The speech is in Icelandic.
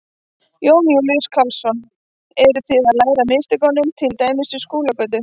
Jón Júlíus Karlsson: Eru þið að læra af mistökum til dæmis við Skúlagötu?